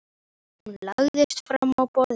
Hún lagðist fram á borðið.